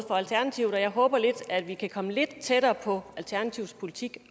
alternativet og jeg håber at vi kan komme lidt tættere på alternativets politik i